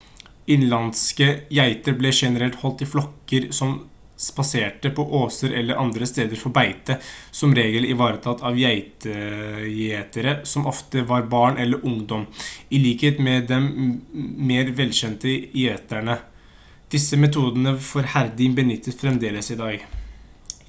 innenlandske geiter ble generelt holdt i flokker som spaserte på åser eller andre steder for beite som regel ivaretatt av geitegjetere som ofte var barn eller ungdom i likhet med den mer velkjente gjeteren disse metodene for herding benyttes fremdeles i dag